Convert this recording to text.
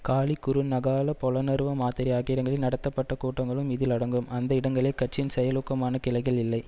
காலி குருநகால பொலனறுவ மாத்தறை ஆகிய இடங்களில் நடத்தப்பட்ட கூட்டங்களும் இதில் அடங்கும் அந்த இடங்க கட்சியின் செயலூக்கமான கிளைகள் இல்லை